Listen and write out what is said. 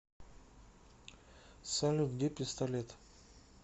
салют где пистолет